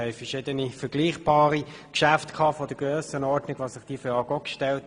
Wir hatten vergleichbare Geschäfte dieser Grössenordnung, bei denen sich diese Frage auch stellte.